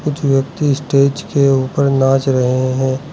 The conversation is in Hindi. कुछ व्यक्ति स्टेज के ऊपर नाच रहे हैं।